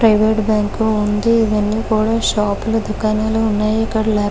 Private bank కూడా ఉంది. ఇక్కడ షాపు లు దుకాణాలు ఉన్నాయి. ఇక్కడ --